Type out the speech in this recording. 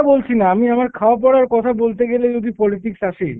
বলছি না, আমি আমার খাওয়া পরার কথা বলতে গেলে যদি politics আসে,